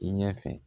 I ɲɛfɛ